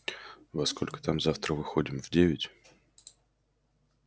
во сколько там завтра выходим в девять